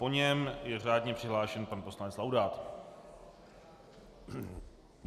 Po něm je řádně přihlášen pan poslanec Laudát.